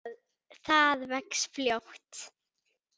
Það vex fljótt.